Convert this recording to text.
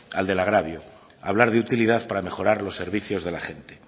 al del agravio hablar de utilidad para mejorar los servicios de la gente